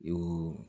O